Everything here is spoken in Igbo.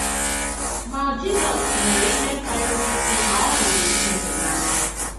Ma Jizọs mere ihe kárịrị ikwu na ọ hụrụ Chineke n’ànya.